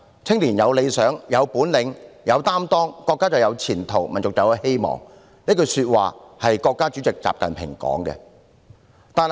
青年一代有理想、有本領、有擔當，國家就有前途，民族就有希望"，這句是國家主席習近平的說話。